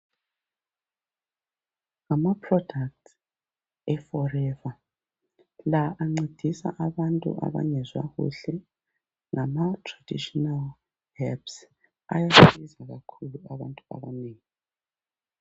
Ngamaproduct eForever la ancedisa abantu abangezwa kuhle ngama traditional herbs ayasiza kakhulu abantu abanengi